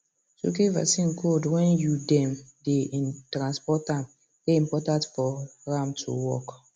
to keep vaccine cold when you dem dey transport am dey important for em to work